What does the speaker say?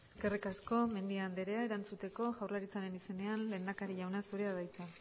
eskerrik asko mendia andrea erantzuteko jaurlaritzaren izenean lehendakari jauna zurea da hitza